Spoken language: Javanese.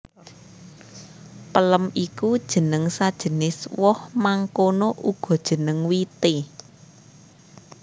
Pelem iku jeneng sajenis woh mangkono uga jeneng wité